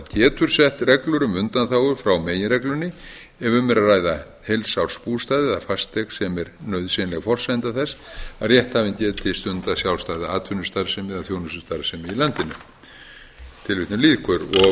sett reglur um undanþágur frá meginreglunni ef um er að ræða heilsársbústað eða fasteign sem er nauðsynleg forsenda þess að rétthafinn geti stundað sjálfstæða atvinnustarfsemi eða þjónustustarfsemi í landinu síðan er eins